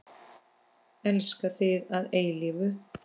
Elska þig að eilífu.